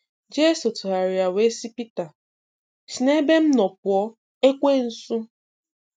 Jeso tụgharịa wee sị Pita, si n'ebe m nọ pụọ, Ekwensu!